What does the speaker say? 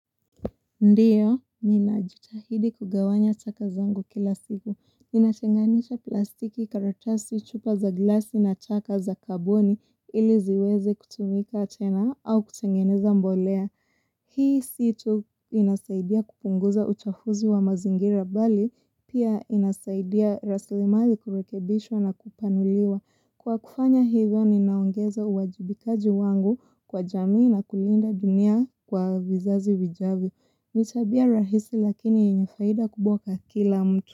Ndiyo, mi najitahidi kugawanya chaka zangu kila siku. Mi nachanganisha plastiki karatasi chupa za glasi na chaka za kambuni ili ziweze kutumika tena au kutengeneza mbolea. Hii si tu inasaidia kupunguza uchafuzi wa mazingira bali pia inasaidia rasli mali kurekebishwa na kupanuliwa. Kwa kufanya hivyo ninaongeza uwajibikaji wangu kwa jamii na kulinda dunia kwa vizazi vijavyo. Ni tabia rahisi lakini yenye faida kubwa kwa kila mtu.